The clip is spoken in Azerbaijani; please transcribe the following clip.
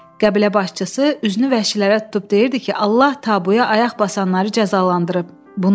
Qəbilə başçısı üzünü vəhşilərə tutub deyirdi ki, Allah Tabuya ayaq basanları cəzalandırıb.